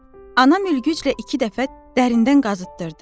Anam ülgüclə iki dəfə dərindən qazıtdırdı.